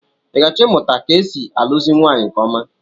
I ga-achọ ịmụta ka e si alụzi nwaanyị nke ọma?